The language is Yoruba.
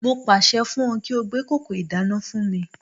Mo pàṣẹ fún ọ kí ó gbé kòkò ìdáná fún mi